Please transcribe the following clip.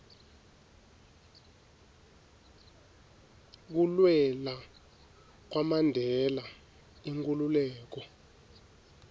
kulwela kwamandela inkhululeko